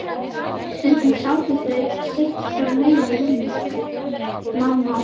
Stundum sátu þau sitt hvorum megin við rúmið mamma og